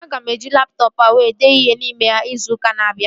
Aga m eji laptọọpụ a were dee ihe n'ime ya izu ụka na-abịa